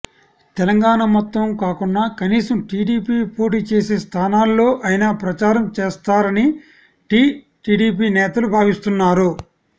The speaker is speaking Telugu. తెలంగాణ మొత్తం కాకున్నా కనీసం టీడీపీ పోటీ చేసే స్థానాల్లో అయినా ప్రచారం చేస్తారని టీ టీడీపీ నేతలు భావిస్తున్నారు